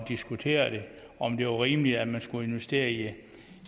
diskutere det og om det var rimeligt at man skulle investere i det